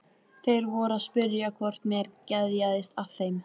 Þeir voru að spyrja hvort mér geðjaðist að þeim.